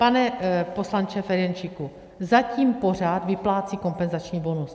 Pane poslanče Ferjenčíku, zatím pořád vyplácí kompenzační bonus.